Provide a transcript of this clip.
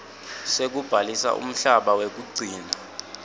sekubhalisa umhlaba wekugcina